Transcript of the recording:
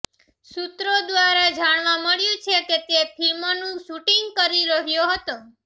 સૂત્રો દ્વારા જાણવા મળ્યું છે કે તે ફિલ્મનું શૂટિંગ કરી રહ્યો હતો